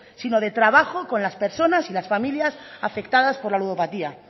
sino de trabajo con las personas y las familias afectadas por la ludopatía